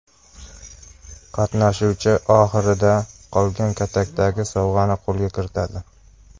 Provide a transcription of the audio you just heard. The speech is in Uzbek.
Qatnashuvchi oxirida qolgan katakdagi sovg‘ani qo‘lga kiritadi.